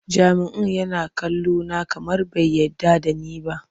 Jami'in yana kallona kamar bai yarda da ni ba.